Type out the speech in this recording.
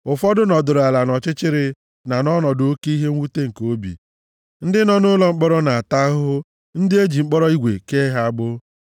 Ụfọdụ nọdụrụ ala nʼọchịchịrị na nʼọnọdụ oke ihe mwute nke obi, ndị nọ nʼụlọ mkpọrọ na-ata ahụhụ ndị e ji mkpọrọ igwe kee ha agbụ,